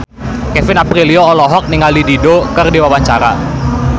Kevin Aprilio olohok ningali Dido keur diwawancara